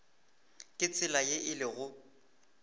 ka tsela ye e lego